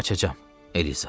Qaçaqam, Eliza.